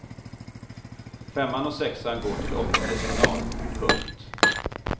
Femman och sexan går till åttondelsfinal. punkt